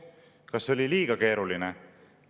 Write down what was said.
Kas oli liiga keeruline?